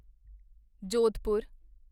Jodhpur